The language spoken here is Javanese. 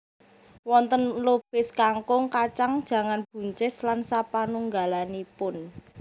Wonten lobis kangkung kacang jangan buncis lan sapanunggalanipun